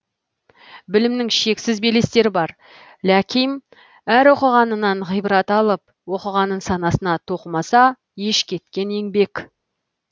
білімнің шексіз белестері бар ляким әр оқығанынан ғибрат алып оқығанын санасына тоқымаса еш кеткен еңбек